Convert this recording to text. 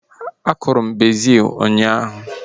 A kụrụ m bezil ụnyaahụ